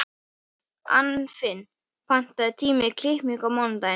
Anfinn, pantaðu tíma í klippingu á mánudaginn.